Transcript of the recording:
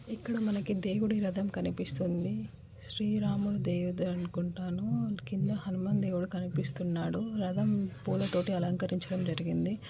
ఇక్కడ మనకి దేవుడి రథం కనిపిస్తుంది. శ్రీ రాముని దేవదులు అనుకుంటాను. క్రింద హనుమాన్ దేవుడు కనిపిస్తున్నాడు. రథం పూలతోటి అలంకరించడం జరిగింది.